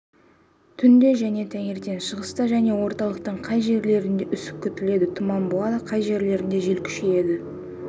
түнде және таңертең шығыста және орталықтың кей жерлерінде үсік күтіледі тұман болады кей жерлерінде жел күшейеді